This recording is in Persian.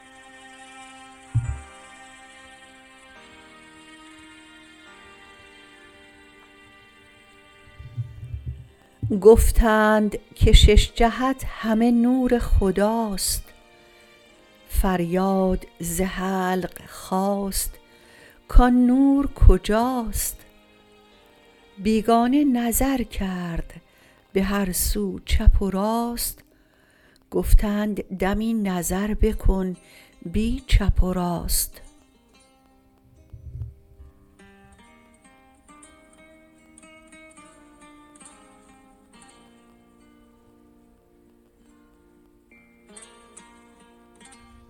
گفتند که شش جهت همه نور خداست فریاد ز حلق خاست کان نور کجاست بیگانه نظر کرد بهر سو چپ و راست گفتند دمی نظر بکن بی چپ و راست